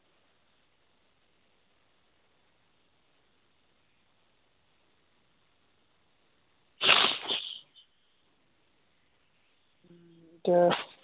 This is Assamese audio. এতিয়া